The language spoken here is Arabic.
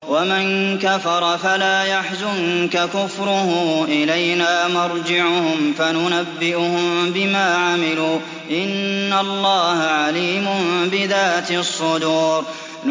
وَمَن كَفَرَ فَلَا يَحْزُنكَ كُفْرُهُ ۚ إِلَيْنَا مَرْجِعُهُمْ فَنُنَبِّئُهُم بِمَا عَمِلُوا ۚ إِنَّ اللَّهَ عَلِيمٌ بِذَاتِ الصُّدُورِ